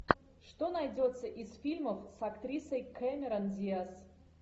что найдется из фильмов с актрисой камерон диаз